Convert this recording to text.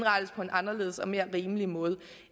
anderledes og mere rimelig måde